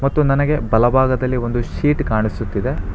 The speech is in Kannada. ಮತ್ತು ನನಗೆ ಬಲಭಾಗದಲ್ಲಿ ಒಂದು ಶೀಟ್ ಕಾಣಿಸುತ್ತಿದೆ.